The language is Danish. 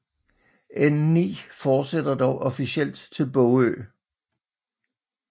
N9 fortsætter dog officielt til Bogø